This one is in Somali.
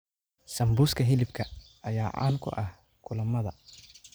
Sambuuska hilibka ayaa caan ku ah kulamada.